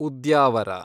Udyavara